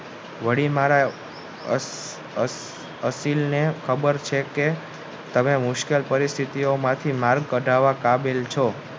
વળી મારે અસલીને ખબર છે કે તમે મુશ્કેલ પરિસ્થિતિ માંથી કાઢવા કાબિલ છો